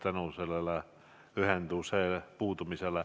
Mart Helme, palun!